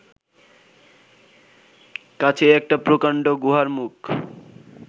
কাছেই একটা প্রকান্ড গুহার মুখ